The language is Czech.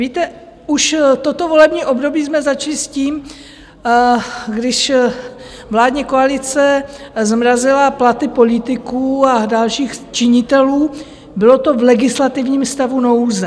Víte, už toto volební období jsme začali s tím, když vládní koalice zmrazila platy politiků a dalších činitelů, bylo to v legislativním stavu nouze.